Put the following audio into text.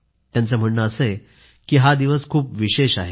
त्यांचं म्हणणं असं आहे की हा दिवस खूप विशेष आहे